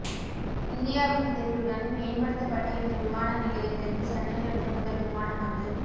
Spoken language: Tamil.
இந்தியாவின் உதவியுடன் மேம்படுத்தப்பட்ட இந்த விமான நிலையத்திற்கு சென்னையிலிருந்து முதல் விமானம் வந்து